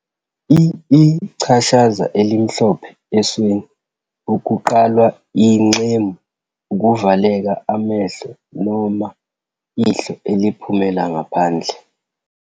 I-ichashaza elimhlophe esweni, ukuqalwa ingxemu, ukuvaleka amehlo noma ihlo eliphumela ngaphandle.